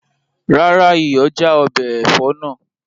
Rárá, iyọ̀ já ọbẹ̀ ẹ̀fọ́ náà